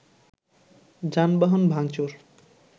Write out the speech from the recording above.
যানবাহন ভাঙচুর